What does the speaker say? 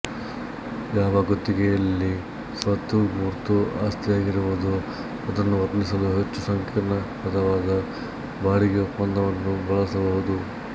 ಯಾವ ಗುತ್ತಿಗೆಯಲ್ಲಿ ಸ್ವತ್ತು ಮೂರ್ತ ಆಸ್ತಿಯಾಗಿರುವುದೊ ಅದನ್ನು ವರ್ಣಿಸಲು ಹೆಚ್ಚು ಸಂಕೀರ್ಣ ಪದವಾದ ಬಾಡಿಗೆ ಒಪ್ಪಂದವನ್ನು ಬಳಸಬಹುದು